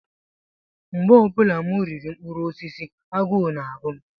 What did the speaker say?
Mgbe ọ bụla m riri mkpụrụ osisi, agụụ na-agụ m.